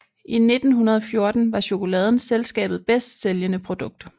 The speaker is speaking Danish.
I 1914 var chokoladen selskabet bedst sælgende produkt